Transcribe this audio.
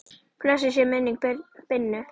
Blessuð sé minning Binnu.